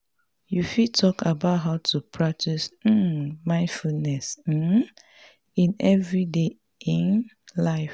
you fit talk about how to practice um mindfulness um in everyday um life.